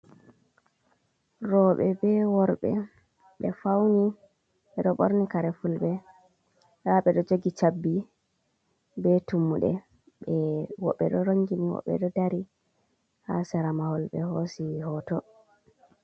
Roɓe be worɓe ɓe fauni ɓeɗo ɓorni kare fulɓe, nda ɓe ɗo jogi chabbi be tummuɗe, woɓɓe ɗo rongini woɓɓe ɗo dari ha sera mahol ɓe hosi hoto.